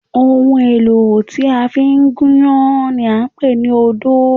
Ohun èlò tí a fi ń gúnyán ni à ń pè ní odó